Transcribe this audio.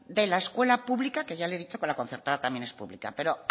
de la escuela pública que ya le he dicho que la concertada también es pública pero